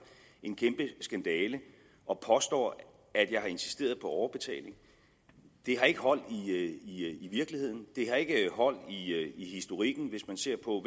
en kæmpe skandale og påstår at jeg har insisteret på overbetaling det har ikke hold i virkeligheden og det har ikke hold i historikken hvis man ser på